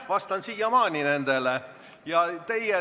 Vastan siiamaani neile küsimustele.